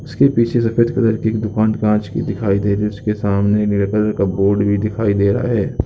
इसके पीछे सफेद कलर की एक दुकान कांच की दिखाई दे रही है उसके सामने नीले कलर का बोर्ड भी दिखाई दे रहा है।